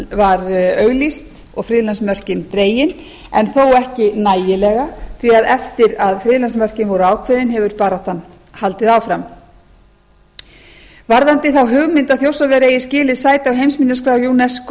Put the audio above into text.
var auglýst og friðlandsmörkin dregin en þó ekki nægilega því að eftir að friðlandsmörkin voru ákveðin hefur baráttan haldið áfram varðandi þá hugmynd að þjórsárver eigi skilið sæti á heimsminjaskrá unesco